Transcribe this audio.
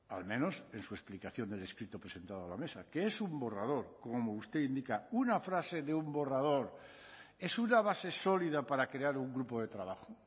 al menos en su explicación del escrito presentado a la mesa que es un borrador como usted indica una frase de un borrador es una base sólida para crear un grupo de trabajo